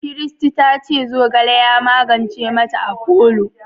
Christy ta ce zogale ya magance ma ta afolo